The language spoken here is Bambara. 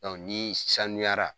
ni saniyara